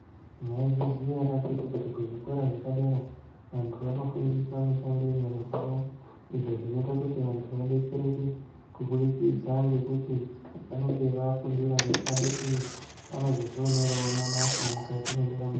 Maizviziya ere akhiti kuti kuzvikora zvepadera vantu vanofundiswa mushando yenyara dzavo. Izvo zvinoita kuti vantu vabetsereke kubudikidza ngekuti vanenge vafundira mushando iyi vanozozvioneravo mabasa mukati mwendaramo dzavo.